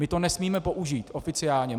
My to nesmíme použít oficiálně.